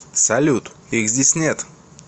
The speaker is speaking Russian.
салют их здесь нет